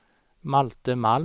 Malte Malm